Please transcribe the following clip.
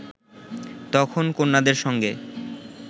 তখন কন্যাদের সঙ্গে